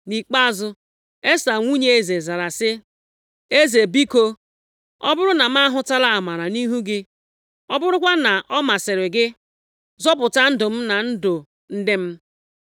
Nʼikpeazụ, Esta nwunye eze zara sị, “Eze biko, ọ bụrụ na m ahụtala amara nʼihu gị, ọ bụrụkwa na ọ masịrị gị, zọpụta ndụ m na ndụ ndị m.